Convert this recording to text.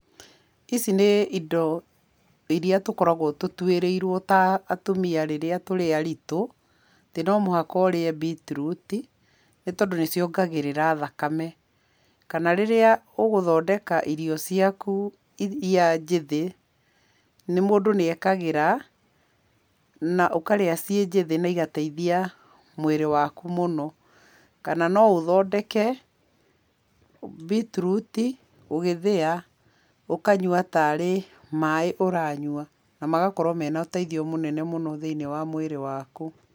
Ici nĩ indo iria tũkũragwo tũtuĩrĩirwo ta atumia rĩrĩa tũrĩ aritũ, atĩ no mũhaka ũrĩa mbitirĩti, nĩ tondũ nĩ ciongagĩrĩra thakame. Kana rĩrĩa ũgthondeka irio ciaku iria njĩthĩ, mũndũ nĩ ekagĩra na ũkarĩa ci njĩthĩ na igateithia mwĩrĩ waku mũno. Kana no ũthondeke mbitiruti ũgĩthĩa, ũkanyua tarĩ maĩ ũranyua, na magakorwo mena ũteithio mũnene thĩiniĩ wa mwĩrĩ waku.